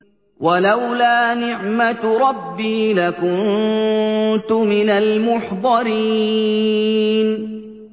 وَلَوْلَا نِعْمَةُ رَبِّي لَكُنتُ مِنَ الْمُحْضَرِينَ